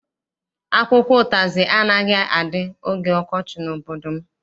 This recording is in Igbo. Akwụkwọ ụtazị anaghị adị oge ọkọchị n'obodo m.